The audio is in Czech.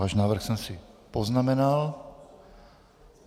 Váš návrh jsem si poznamenal.